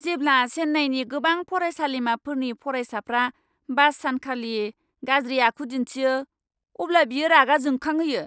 जेब्ला चेन्नाईनि गोबां फरायसालिमाफोरनि फरायसाफ्रा बास सानखालि गाज्रि आखु दिन्थियो, अब्ला बियो रागा जोंखांहोयो।